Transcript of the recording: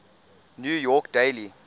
new york daily